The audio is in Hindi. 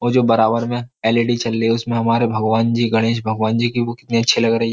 और जो बराबर में एलईडी चल रही है उसमें हमारे भगवान जी गणेश भगवान जी की वो कितनी अच्छी लग रही है।